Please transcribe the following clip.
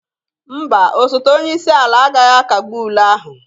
Mba, osote onye isi ala agaghị akagbu ule ahụ.